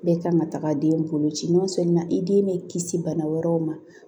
Bɛɛ kan ka taga den bolo ci n'o sɔrɔ i den bɛ kisi bana wɛrɛw ma